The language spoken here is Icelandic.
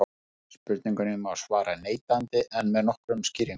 spurningunni má svara neitandi en með nokkrum skýringum